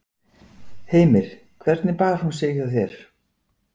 Heimir: Hvernig bar hún sig hjá þér?